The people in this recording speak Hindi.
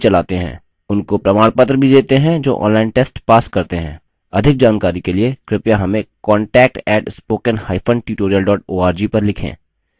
उनको प्रमाणपत्र भी details हैं जो online test pass करते हैं अधिक जानकारी के लिए कृपया हमें contact @spoken hyphen tutorial org पर लिखें